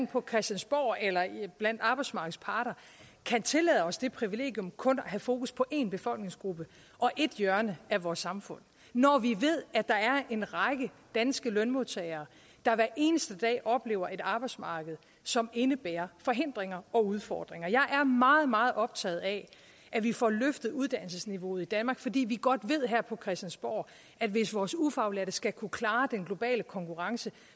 på christiansborg eller blandt arbejdsmarkedets parter kan tillade os det privilegium kun at have fokus på en befolkningsgruppe og et hjørne af vores samfund når vi ved at der er en række danske lønmodtagere der hver eneste dag oplever et arbejdsmarked som indebærer forhindringer og udfordringer jeg er meget meget optaget af at vi får løftet uddannelsesniveauet i danmark fordi vi godt ved her på christiansborg at hvis vores ufaglærte skal kunne klare den globale konkurrence